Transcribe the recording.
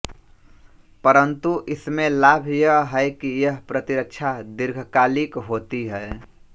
परंतु इसमें लाभ यह है कि यह प्रतिरक्षा दीर्घकालिक होती है